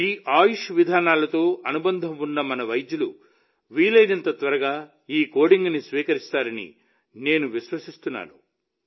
ఈ ఆయుష్ విధానాలతో అనుబంధం ఉన్న మన వైద్యులు వీలైనంత త్వరగా ఈ కోడింగ్ని స్వీకరిస్తారని నేను విశ్వసిస్తున్నాను